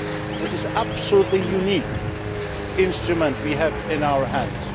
This is an absolutely unique instrument we have in our hands.